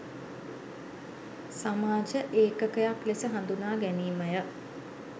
සමාජ ඒකකයක් ලෙස හඳුනා ගැනීමය